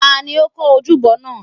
ta ni ó kọ́ ojúbọ náà?